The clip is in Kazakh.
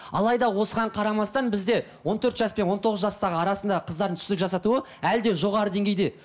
алайда осыған қарамастан бізде он төрт жас пен он тоғыз жастағы арасында қыздардың түсік жасатуы әлі де жоғары деңгейде